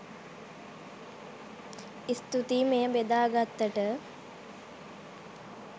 ස්තුතියි මෙය බෙදා ගත්තට